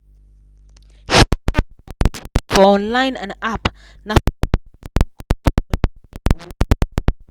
she compare price for online and app naso she take jam correct holiday awoof.